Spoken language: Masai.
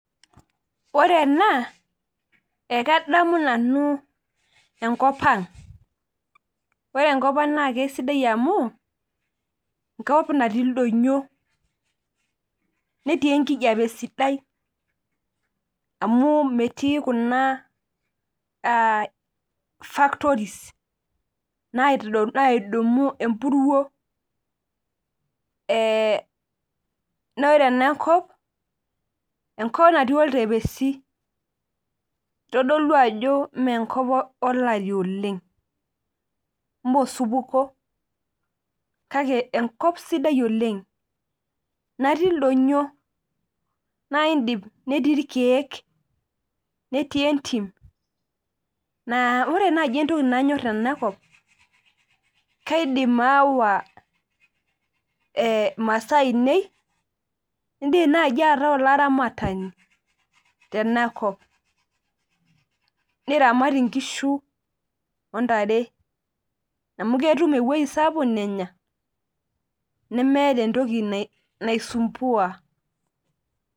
Ore ena, ekadamu nanu enkop ang. Ore enkop ang naa kasidai amu, enkop natii ildonyo, netii enkijape sidai, amu metii kuna factories naidumu empuruo, nore enakop, enkop natii oltepesi. Kitodolu ajo menkop olari oleng. Mosupuko. Kake enkop sidai oleng. Natii ildonyo. Naidim netii irkeek. Netii entim, naa ore nai entoki nanyor tenakop, kaidim aawa masaa ainei, idim nai ataa olaramatani, tenakop. Niramat inkishu ontare. Amu ketum ewoi sapuk nenya, nemeeta entoki naisumbua.